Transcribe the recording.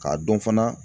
K'a dɔn fana